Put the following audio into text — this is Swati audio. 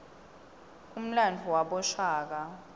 umlandvo wabashaka